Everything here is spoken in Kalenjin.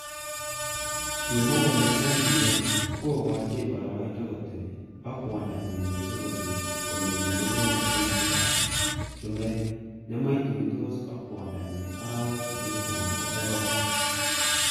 Kimwa kole NBL kokochin boroindo kotebi ak.kwodonyi missing kosir Komitei inendet kimosta ab chumbek nematuitos ak.kwondo nyi arawek sisit anan ko sokol.